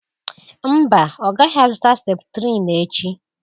mba ọ gaghị azụta septrin echi